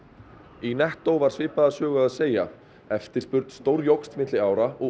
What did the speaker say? í nettó var svipaða sögu að segja eftirspurn stórjókst milli ára og